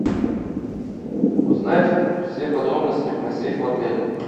узнать все подробности про сейф в отеле